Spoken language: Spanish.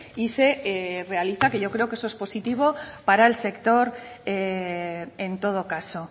y se realiza que yo creo que eso es positivo para el sector en todo caso